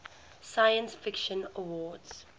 science fiction awards